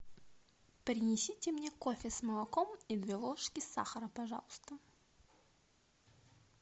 принесите мне кофе с молоком и две ложки сахара пожалуйста